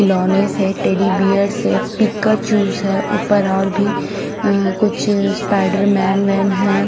खिलोने से teddy bear से पिकाचू स ह उपर और भी अ कुछ स्पाइडर मेन वेन है।